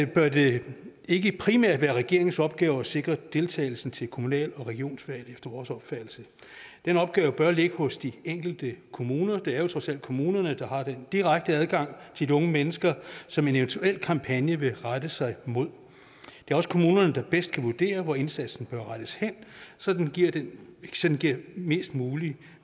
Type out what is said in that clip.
bør det ikke primært være regeringens opgave at sikre deltagelsen til kommunal og regionsvalg efter vores opfattelse den opgave bør ligge hos de enkelte kommuner det er jo trods alt kommunerne der har den direkte adgang til de unge mennesker som en eventuel kampagne vil rette sig mod det er også kommunerne der bedst kan vurdere hvor indsatsen bør rettes hen så den giver den giver mest mulig